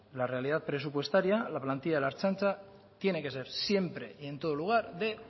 la realidad presupuestaria la plantilla de la ertzaintza tiene que ser siempre y en todo lugar de